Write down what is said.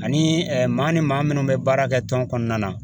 Ani maa ni maa minnu bɛ baara kɛ tɔn kɔnɔna na